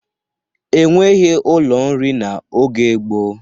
E nweghi ụlọ nri n'oge gboo.